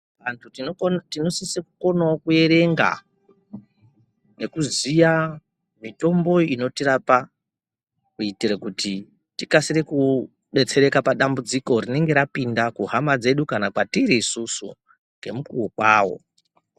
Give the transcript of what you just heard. Vantu tino sise ku konawo ku erenga neku ziya mitombo inotirapa kuitire kuti tikasiree kudetsereka pa dambudziko rinenge rapinda kuhama dzedu kana kwatiri isusu nge mukuwo kwawo.